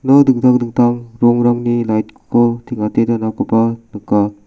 ia dingtang dingtang rongrangni lait ko teng·ate donakoba nika.